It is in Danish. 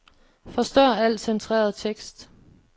Forstør al centreret tekst.